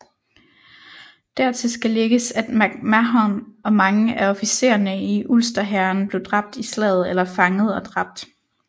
Dertil skal lægges at MacMahon og mange af officererne i Ulsterhæren blev dræbt i slaget eller fanget og dræbt